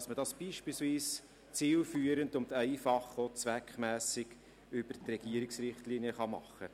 Man kann das beispielsweise zielführend, einfach und auch zweckmässig über die Regierungsrichtlinien machen.